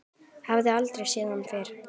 Hefur aldrei séð hann fyrr.